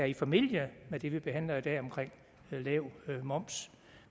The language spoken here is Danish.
i familie med det vi behandler i dag om lav moms